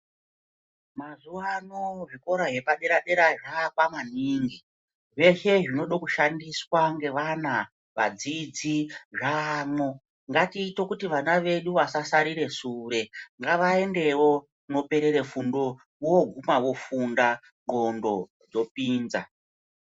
Mazuva ano zvikora zvepadera dera zvoakwa maningi zveshe zvinoda kushandiswa ngevana ngevadzidzi zvako ngatiite kuti vana vedu vasasrire sure ngavaendewo kuno perera fundo vogika vofundanngonxo dzopinza.